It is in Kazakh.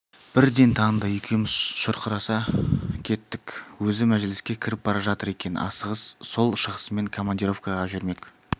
бірден таныды екеуміз шұрқыраса кеттік өзі мәжіліске кіріп бара жатыр екен асығыс сол шығысымен командировкаға жүрмек